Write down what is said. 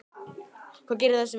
Hvað gerir þær að meisturum?